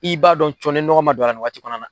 I b'a dɔn cɔn ni nɔgɔ ma don a la, nin wa kɔnɔ na